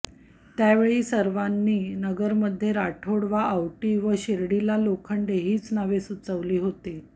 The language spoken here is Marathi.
त्यावेळीही सर्वांनी नगरमध्ये राठोड वा औटी व शिर्डीला लोखंडे हीच नावे सुचवली होती